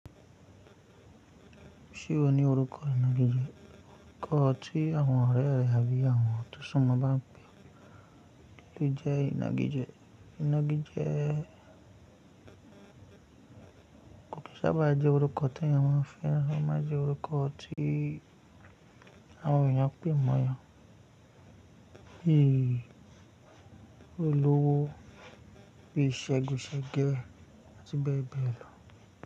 Ṣé o ní orúkọ inagije? Ọrùkọ tí àwọn ọ̀rẹ́ rẹ àbí àwọn tọ́ ṣún mọ́ bá ẹ pẹ́. Kí ló jẹ́ inagije? Inagije. Kò kí n sá bá jẹ́ orúkọ tẹ́yàn máa ń fẹ́ràn ó máa ń jẹ́ orúkọ tí àwọn èèyàn pè mọ́ yan. Bí olówó bí segun sege àti bẹ́ẹ̀ bẹ́ẹ̀ lọ.